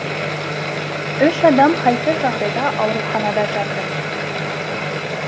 үш адам халсіз жағдайда аурухана жатыр